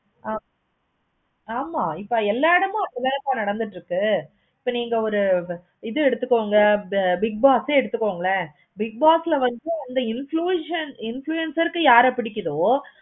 ஆஹ் ஆமா இப்ப எல்லா இடமும் இதான் sir நடந்துட்டு இருக்கு. so நீங்க ஒரு இது எடுத்துக்கோங்க big boss எடுத்துகோங்களே bigboss ல வந்து influences influencer க்கு யாரை பிடிக்குதோ?